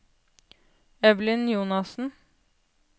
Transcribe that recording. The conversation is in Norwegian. Evelyn Jonassen